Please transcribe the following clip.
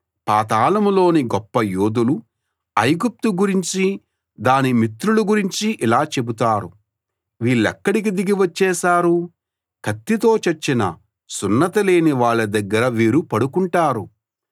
పాతాళంలోని గొప్ప యోధులు ఐగుప్తు గురించీ దాని మిత్రుల గురించీ ఇలా చెబుతారు వీళ్లిక్కడికి దిగి వచ్చేశారు కత్తితో చచ్చిన సున్నతిలేని వాళ్ళ దగ్గర వీరు పడుకుంటారు